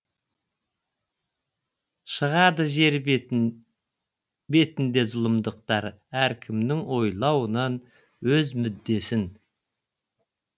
шығады жер бетінде зұлымдықтар әркімнің ойлауынан өз мүддесін